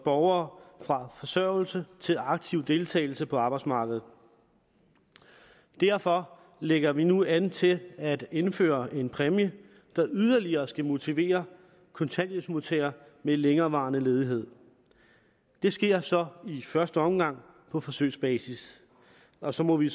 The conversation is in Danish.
borgere fra forsørgelse til aktiv deltagelse på arbejdsmarkedet derfor lægger vi nu an til at indføre en præmie der yderligere skal motivere kontanthjælpsmodtagere ved længerevarende ledighed det sker så i første omgang på forsøgsbasis og så må vi